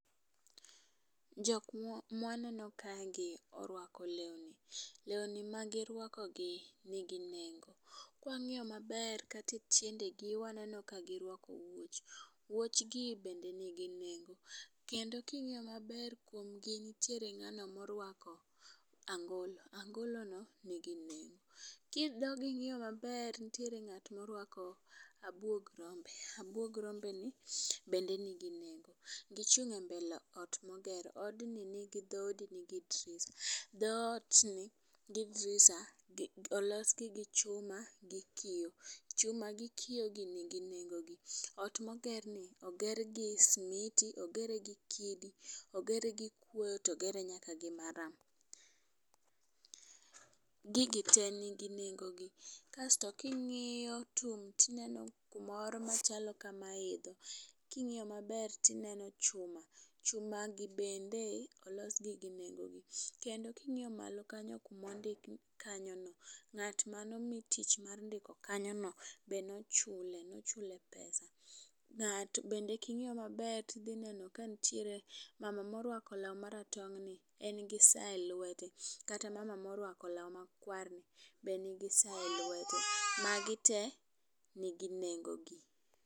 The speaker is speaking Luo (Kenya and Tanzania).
Jok mwaneno kae gi orwako lewni. Lewni magi rwako gi nigi nengo .Kwang'iyo maber kate tiendegi waneno ka girwako wuoch .Wuoch gi bende nigi nengo kendo king'iyo maber kuom gi ntiere ng'ano morwako angolo, angolo no nigi nengo . Kidogi ng'iyo maber ntiere ng'at morwako abwog rombe ni bende nigi nengo. Gichung' e mbele ot moger od ni nigi dhoudi nigi drisha dhood ni gi drisha olos gi gi chuma gi kioo. Chuma gi kioo gi nigi nengo gi . Ot moger ni oger gi smiti ogere gi kidi, ogere gi kuoyo togere nyaka gi maram . Gigi te nigi nengo gi kasto, king'iyo tum tineno kumoro machalo ka ma idho king'iyo maber tineno chuma , chuma gi bende olos gi gi nengo gi. kendo king'iyo malo kamo ndik kanyo no ng'at mano mi tich ma nondiko kanyo no nochule nochule pesa. To bende king'iyo maber kantiere mama morwako law maratong' ni en gi saa elwete kata mama morwako law makwar ni be nigi saa e lwete. Magi tee nigi nengo gi.